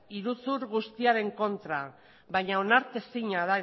iruzur guztiaren kontra baina onartezina